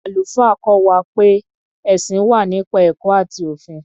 Àlùfáà kọ́ wa pé ẹ̀sìn wà nípa ẹ̀kọ́ àti òfin.